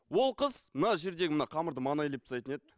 ол қыз мына жердегі мына қамырды мана илеп тастайтын еді